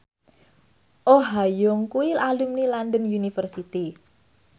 Oh Ha Young kuwi alumni London University